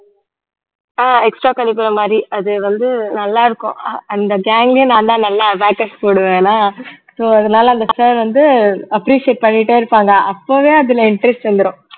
ஆஹ் extra curriculum மாரி அது வந்து நல்லாயிருக்கும் அந்த gang லயே நான் தான் நல்லா abacus போடுவேனா so அதனால அந்த sir வந்து appreciate பண்ணிட்டே இருப்பாங்க அப்பவே அதுல interest வந்துரும்